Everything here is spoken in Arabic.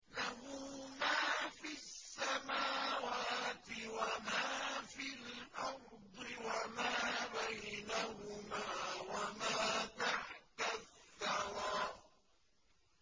لَهُ مَا فِي السَّمَاوَاتِ وَمَا فِي الْأَرْضِ وَمَا بَيْنَهُمَا وَمَا تَحْتَ الثَّرَىٰ